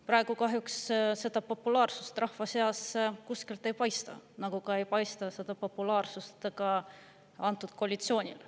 Praegu kahjuks seda populaarsust rahva seas kuskilt ei paista, nagu ei paista ka selle koalitsiooni populaarsust.